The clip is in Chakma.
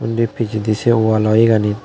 undi pijedi se wallo iyeganit.